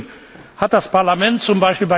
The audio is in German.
Im Übrigen hat das Parlament z.